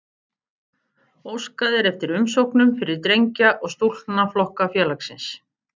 Óskað er eftir umsóknum fyrir drengja- og stúlknaflokka félagsins.